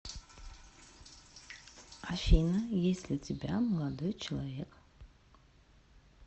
афина есть ли у тебя молодой человек